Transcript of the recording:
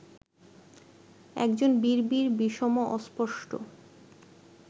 একজন বিড়বিড় বিষম অস্পষ্ট